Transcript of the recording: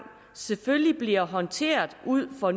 selvfølgelig bliver håndteret ud fra